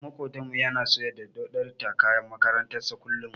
Ɗan maƙotanmu yana so ya dauɗatar da kayan makarantar sa kullum.